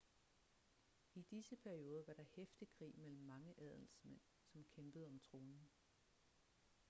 i disse perioder var der heftig krig mellem mange adelsmænd som kæmpede om tronen